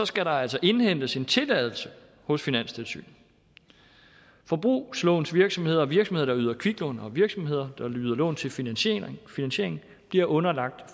skal der altså indhentes en tilladelse hos finanstilsynet forbrugslånsvirksomheder og virksomheder der yder kviklån og virksomheder der yder lån til finansiering finansiering bliver underlagt